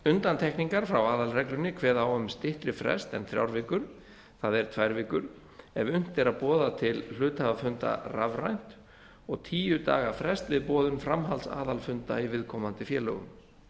undantekningar frá aðalreglunni kveða á um styttri frest en þrjár vikur það er tvær vikur ef unnt er að boða til hluthafafunda rafrænt og tíu daga frest við boðun framhaldsaðalfunda í viðkomandi félögum